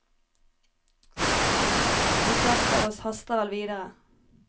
De fleste av oss haster vel videre.